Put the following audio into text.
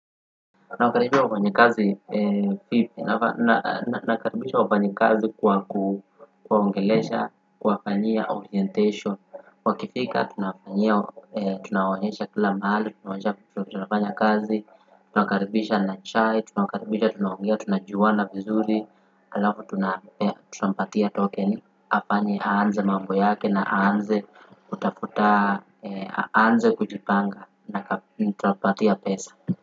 Nakaribisha wafanyikazi kwa kuwaongelesha, kuwafanyia orientation, wakifika tunawafanyia tunawaonyesha kila mahali, tunawaonyesha vile tunafanya kazi, tunawakaribisha na chai, tunawakaribisha, tunaongea, tunajuana vizuri, alafu tunampatia tokeni, afanye aanze mambo yake na aanze kutafuta, aanze kujipanga na tutampatia pesa.